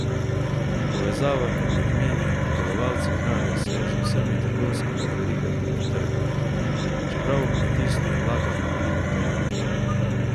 Povezava med ljudmi in pridelovalci hrane se je z vsemi trgovskimi verigami pretrgala, čeprav v kmetijstvo vlagamo veliko denarja.